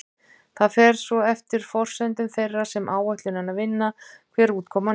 Það fer svo eftir forsendum þeirra sem áætlunina vinna hver útkoman er.